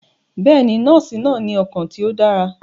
Bẹẹni, nọọsi naa ni ọkan ti o dara.